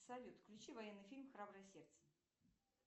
салют включи военный фильм храброе сердце